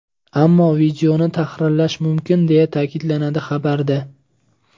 Ammo videoni tahrirlash mumkin, deya ta’kidlanadi xabarda.